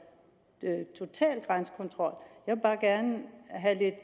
det er total grænsekontrol